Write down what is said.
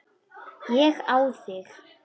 Ég á þig.